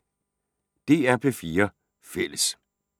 DR P4 Fælles